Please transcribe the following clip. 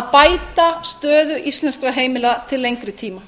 að bæta stöðu íslenskra heimila til lengri tíma